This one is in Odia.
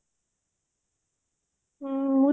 ହୁଁ ମୁଁ